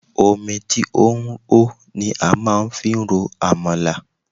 Omi tí ó hó ni a máa fi ń ro Àmàlà.